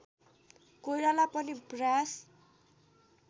कोइराला पनि प्रयास